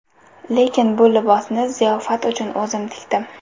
Lekin bu libosni ziyofat uchun o‘zim tikdim”.